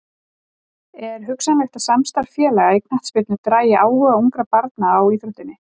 Er hugsanlegt að samstarf félaga í knattspyrnu dragi áhuga ungra barna á íþróttinni?